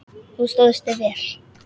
Þú stóðst þig vel.